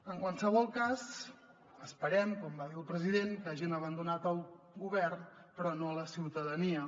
en qualsevol cas esperem com va dir el president que hagin abandonat el govern però no la ciutadania